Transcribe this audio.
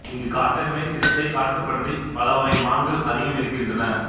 இங்கு காட்டு எருமை சிறுத்தை காட்டுப் பன்றி பல வகை மான்கள் அதிகம் இருக்கின்றன